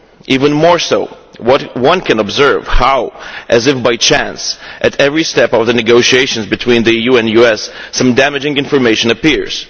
Even more, we can observe how, as if by chance, at every step of the negotiations between the EU and the US some damaging information appears.